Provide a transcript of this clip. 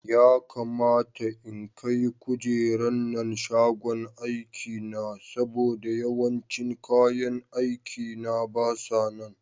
Ya kamata in kai kujeran nan shagon aikina saboda yawancin kayan aikina basa nan.